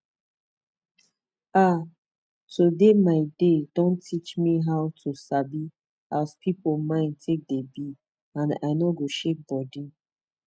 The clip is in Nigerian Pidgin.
ah to de my dey don teach me how to sabi as pipu mind take de be and i nor go shake bodi